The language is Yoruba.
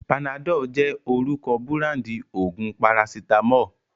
Panadol jẹ́ orúkọ búráńdì òògùn parasítámọ̀.